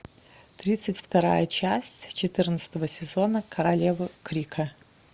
тридцать вторая часть четырнадцатого сезона королевы крика